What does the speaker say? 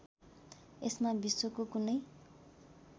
यसमा विश्वको कुनै